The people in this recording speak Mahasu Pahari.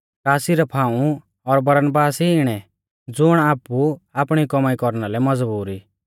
का सिरफ हाऊं और बरनबास ई इणै ज़ुण आपु आपणी कौमाई कौरना लै मज़बूर ई